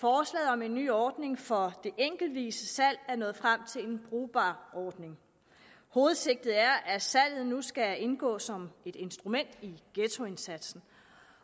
om en ny ordning for det enkeltvise salg er nået frem til en brugbar ordning hovedsigtet er at salget nu skal indgå som et instrument i ghettoindsatsen